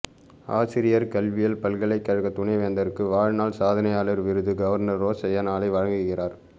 ஆசிரியர் கல்வியியல் பல்கலைக்கழக துணைவேந்தருக்கு வாழ்நாள் சாதனையாளர் விருது கவர்னர் ரோசய்யா நாளை வழங்குகிறார்